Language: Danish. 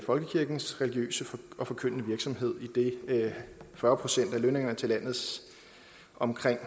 folkekirkens religiøse og forkyndende virksomhed idet fyrre procent af lønningerne til landets omkring